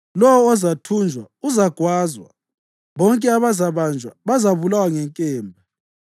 Lowo ozathunjwa uzagwazwa; bonke abazabanjwa bazabulawa ngenkemba.